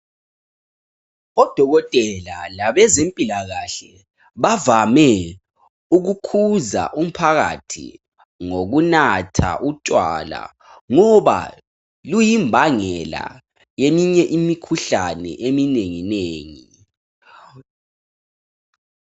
Odokotela labezempilakahle bavame ukukhuza umphakathi ngokunatha utshwala ngoba luyimbangela yeminye imikhuhlane eminenginengi